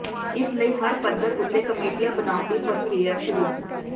ਇਸ ਲਈ ਹਰ ਪੱਧਰ ਉਤੇ ਕਮੇਟੀਆਂ ਬਣਾਉਣ ਦੀ ਪ੍ਰਕਿਰਿਆ ਸ਼ੁਰੂ